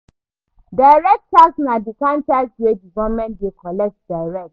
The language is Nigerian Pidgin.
Direct tax na di kind tax wey di government dey collect direct